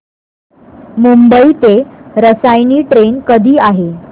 मुंबई ते रसायनी ट्रेन कधी आहे